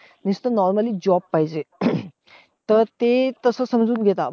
नुसतं normally job पाहिजे. तर ते तसं समजून घेता.